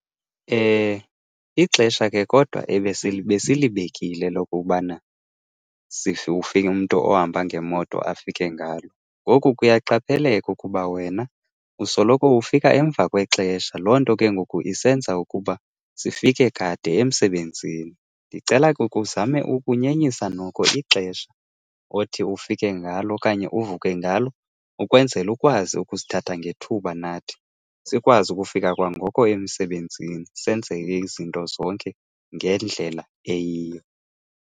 Ixesha ke kodwa besilibekile lokokubana ufike, umntu ohamba ngemoto afike ngalo. Ngoku kuyaqapheleka ukuba wena usoloko ufika emva kwexesha, loo nto ke ngoku isenza ukuba sifike kade emsebenzini. Ndicela ke ukhe uzame ukunyenyisa noko ixesha othi ufike ngalo okanye uvuke ngalo, ukwenzela ukwazi ukusithatha ngethuba nathi. Sikwazi ukufika kwa ngoko emsebenzini senze ke izinto zonke ngendlela eyiyo.